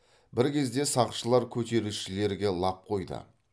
бір кезде сақшылар көтерілісшілерге лап қойды